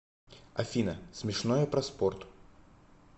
афина смешное про спорт